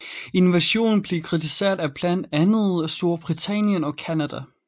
Invasionen blev kritiseret af blandt andet Storbritannien og Canada